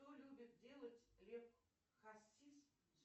что любит делать лев хасис